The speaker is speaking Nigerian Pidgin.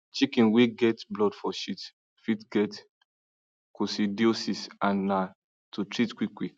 chicken way get blood for shit fit get coccidiosis and need to treat quick quick